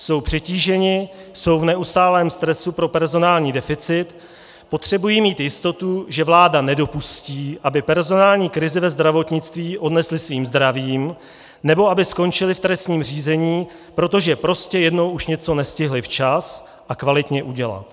Jsou přetížení, jsou v neustálém stresu pro personální deficit, potřebují mít jistotu, že vláda nedopustí, aby personální krizi ve zdravotnictví odnesli svým zdravím nebo aby skončili v trestním řízení, protože prostě jednou už něco nestihli včas a kvalitně udělat.